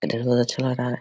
Internal अच्छा है।